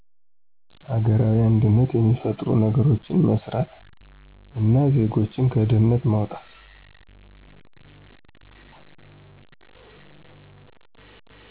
አገራዊ አንድነት የሚፈጥሩ ነገሮች መስራት እና ዜጎችን ከድህነት ማዉጣት